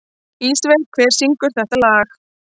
Ísveig, hver syngur þetta lag?